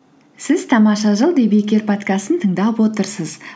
сіз тамаша жыл подкастын тыңдап отырсыз